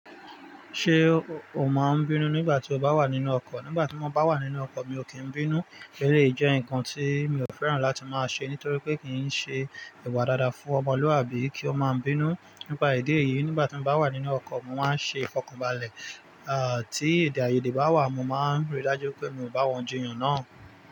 Ṣé o máa n bínú nígbà tí o bá wà nínú ọkọ̀? Nígbà tí mo bá wà nínú ọkọ̀ mi ò kín bínú. Eléyì jẹ́ nǹkan tí mi ò fẹ́ràn láti máa ṣe nítorí pé kì í ṣe ìwà dáadáa fún ọmọlúàbí kí ó máa ń bínú. Nípa ìdí èyìí, nígbà tí mo bá wà nínú ọkọ̀, mo máa ń ṣe fọkànbalẹ̀. À, tí èdè-àiyèdè bá wà, mo máa ń rí i dájú pé mi ò bá wọn jiyàn náà.